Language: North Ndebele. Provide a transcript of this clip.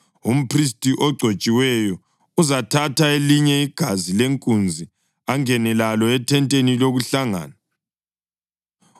Umphristi ogcotshiweyo uzathatha elinye igazi lenkunzi angene lalo ethenteni lokuhlangana.